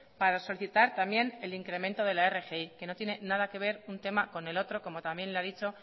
para solicitar también el incremento de la rgi que no tiene nada que ver un tema con el otro como también le ha dicho